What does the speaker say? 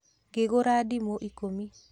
Ngĩgũra ndĩmũ ikũmi